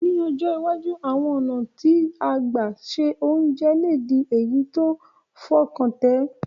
Ní ọjọ́ iwájú, àwon ọ̀nà ti gbà se ounje le di èyí ti fọkàntẹ̀